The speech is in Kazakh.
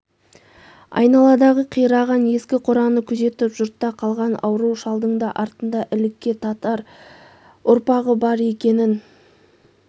айдаладағы қираған ескі қораны күзетіп жұртта қалған ауру шалдың да артында ілікке татыр ұрпағы бар екенін